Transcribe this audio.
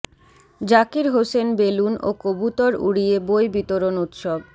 Zakir Hossain balloon ও কবুতর উড়িয়ে বই বিতরণ উৎসব